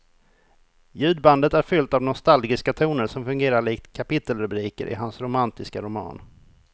Ljudbandet är fyllt av nostalgiska toner som fungerar likt kapitelrubriker i hans romantiska roman.